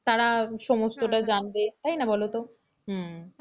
তারা সমস্তটা জানবে তাই না বলতো হুঁম,